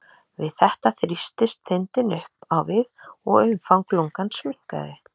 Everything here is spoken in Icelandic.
við þetta þrýstist þindin upp á við og umfang lungans minnkaði